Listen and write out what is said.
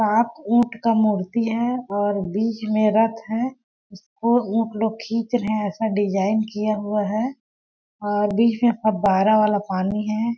सात ऊंट का मूर्ति है और बीच में रथ है इसको ऊंट लोग खींच रहे है ऐसा डिजाइन किया हुआ है बीच में फबाराह वाला पानी है।